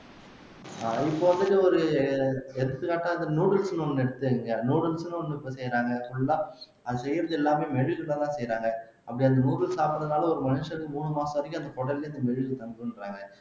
ஆஹ் இப்ப வந்துட்டு ஒரு எடுத்துக்காட்டாக noodles ன்னு ஒண்ணு எடுத்துக்குங்க noodles ன்னு ஒண்ணு எப்புடி செய்யுறாங்க full ஆ அது செய்யறது எல்லாமே மெழுகுதான் செய்யறாங்க அப்படி அந்த noodles சாப்டறதால ஒரு மனுஷனுக்கு மூணு மாசம் வரைக்கும் அந்த குடல்ல மெழுகு தங்குன்றங்க